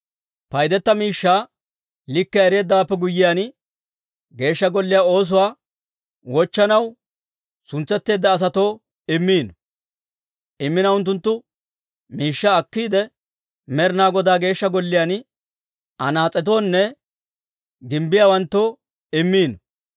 Paydetteedda miishshaa likkiyaa ereeddawaappe guyyiyaan, Geeshsha Golliyaa oosuwaa wochchanaw suntsetteedda asatoo immiino. Unttunttu miishshaa akkiide, Med'ina Godaa Geeshsha Golliyaan anaas'etoonne gimbbiyaawanttoo immiino.